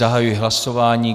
Zahajuji hlasování.